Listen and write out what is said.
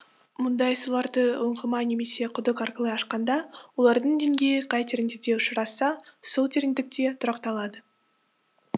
мұндай суларды ұңғыма немесе құдық арқылы ашқанда олардың деңгейі қай тереңдікте ұшырасса сол тереңдікте тұрақталады